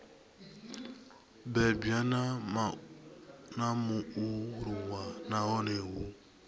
bebwa na mualuwa nahone hu